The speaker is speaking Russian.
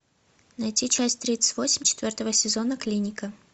найти часть тридцать восемь четвертого сезона клиника